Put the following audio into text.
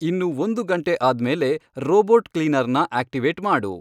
ಇನ್ನು ಒಂದು ಗಂಟೆ ಆದ್ಮೇಲೆ ರೋಬೋಟ್ ಕ್ಲೀನರ್ನ ಆಕ್ಟಿವೇಟ್ ಮಾಡು